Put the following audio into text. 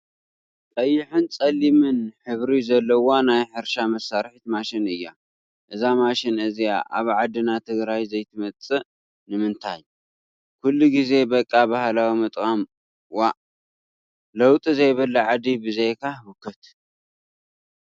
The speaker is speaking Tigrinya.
ቀይሕን ፀሊም ሕብሪ ዘለዋ ናይ ሕርሻ መሳረሒት ማሽን እያ ። እዛ ማሽን እዚኣ ኣብ ዓድና ትግራይ ዘይትመፅእ ንምንታይ! ኩሉ ግዜ በቃ ባህላዊ ምጥቃም ዋእ! ለውጢ ዘይብላ ዓዲ ብዘይካ ህውከት!